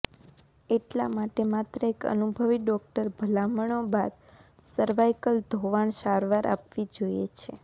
એટલા માટે માત્ર એક અનુભવી ડોક્ટર ભલામણો બાદ સર્વાઇકલ ધોવાણ સારવાર આપવી જોઇએ છે